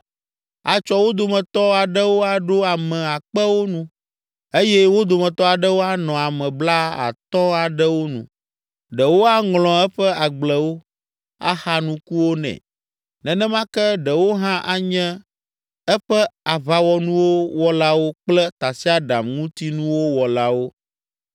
Atsɔ wo dometɔ aɖewo aɖo ame akpewo nu eye wo dometɔ aɖewo anɔ ame blaatɔ̃ aɖewo nu. Ɖewo aŋlɔ eƒe agblewo, axa nukuwo nɛ, nenema ke ɖewo hã anye eƒe aʋawɔnuwo wɔlawo kple tasiaɖamŋutinuwo wɔlawo.